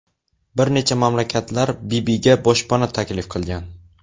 Bir necha mamlakatlar Bibiga boshpana taklif qilgan.